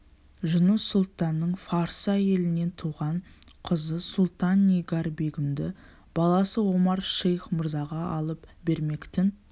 жұныс сұлтанның фарсы әйелінен туған қызы сұлтан-нигар-бегімді баласы омар-шейх мырзаға алып бермек-тін